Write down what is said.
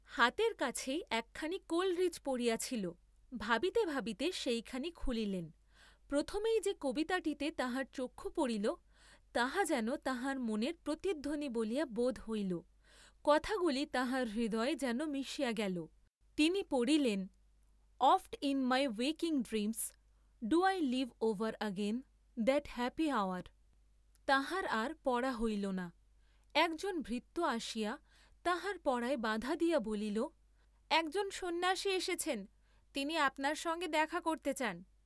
হাতের কাছেই একখানি কোলরিজ পড়িয়া ছিল, ভাবিতে ভাবিতে সেইখানি খুলিলেন, প্রথমেই যে কবিতাটিতে তাঁহার চক্ষু পড়িল তাহা যেন তাঁহার মনের প্রতিধ্বনি বলিয়া বোধ হইল, কথাগুলি তাঁহার হৃদয়ে যেন মিশিয়া গেল, তিনি পড়িলেন, oft in my waking dreams do I live over that happy hour, তাঁহার আর পড়া হইল না, একজন ভৃত্য আসিয়া তাঁহার পড়ায় বাধা দিয়া বলিল একজন সন্ন্যাসী এসেছেন, তিনি আপনার সঙ্গে দেখা করতে চান।